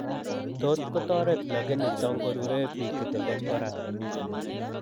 Tot kotoret lakini tongurure biik chetenden koraa